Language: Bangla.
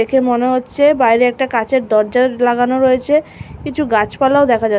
দেখে মনে হচ্ছে বাইরে একটা কাঁচের দরজার লাগানো রয়েছে কিছু গাছপালাও দেখা যাচ --